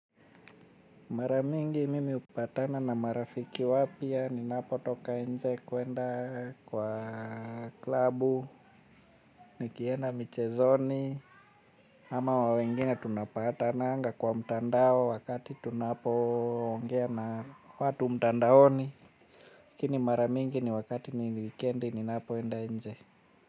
Mara mingi mimi hupatana na marafiki wapya, ninapotoka nje kuenda kwa klabu, nikienda michezoni, ama wa wengine tunapatananga kwa mtandao wakati tunapoongea na watu mtandaoni, lakini mara mingi ni wakati ni wikendi ninapoenda nje.